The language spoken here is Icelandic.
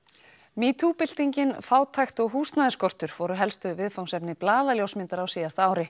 metoo fátækt og húsnæðisskortur voru helstu viðfangsefni blaðaljósmyndara á síðasta ári